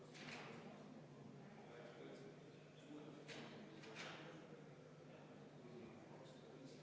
Aga kuna vastust ilmselt ei tule, siis soovin teile jõudu ja tervist ...